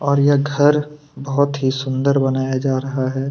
और यह घर बहोत ही सुंदर बनाया जा रहा है।